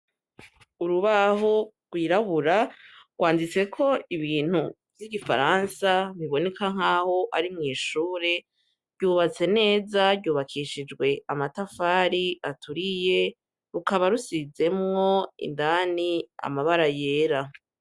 Urubaho wirabura rwanditse ko ibintu vy'igifaransa biboneka nk'aho ari mw'ishure ryubatse neza ryubakishijwe amatafari aturiye rukaba rusizemwo indani amabara yera.